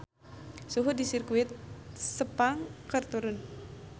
Suhu di Sirkuit Sepang keur turun